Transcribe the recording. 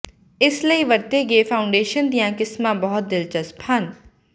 ਇਸ ਲਈ ਵਰਤੇ ਗਏ ਫਾਊਂਡੇਸ਼ਨਾਂ ਦੀਆਂ ਕਿਸਮਾਂ ਬਹੁਤ ਦਿਲਚਸਪ ਹਨ